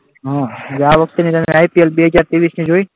આ વખતની IPL બે હજાર ત્રેવીસની જોઈ?